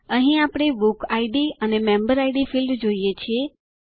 અહીં આપણે book ID અને મેમ્બર ઇડ ફિલ્ડ જોઈએ છીએ